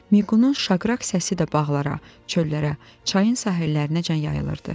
Miqunun şaqqraq səsi də bağlara, çöllərə, çayın sahillərinəcən yayılırdı.